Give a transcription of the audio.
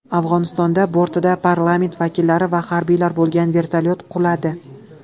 Afg‘onistonda bortida parlament vakillari va harbiylar bo‘lgan vertolyot quladi.